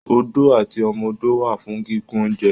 Odó àti ọmọ ọdọ wà fún gígùn ounjẹ.